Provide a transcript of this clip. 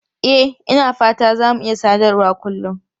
E, Ina fata za mu iya sadarwa kullun.